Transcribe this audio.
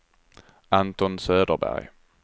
Anton Söderberg